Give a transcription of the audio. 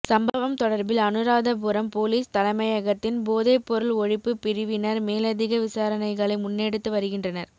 சம்பவம் தொடர்பில் அனுராதபுரம் பொலிஸ் தலைமையகத்தின் போதைப் பொருள் ஒழிப்புப் பிரிவினர் மேலதிக விசாரணைகளை முன்னெடுத்து வருகின்றனர்